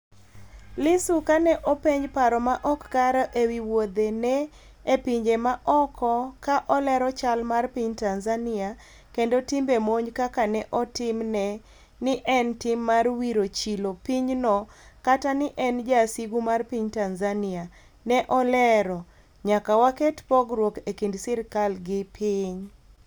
Lissu ka ne openj paro maok kare e wi wouthe ne e pinje ma oko ka olero chal mar piny Tanzania kendo timbe monj kaka ne otimne ni en tim mar wiro chilo piny no kata ni en jasigu mar piny Tanzania, ne olero: " nyaka waket pogruok e kind sirikal gi piny"